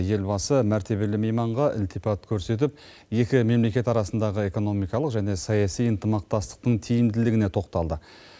елбасы мәртебелі мейманға ілтипат көрсетіп екі мемлекет арасындағы экономикалық және саяси ынтымақтастықтың тиімділігіне тоқталды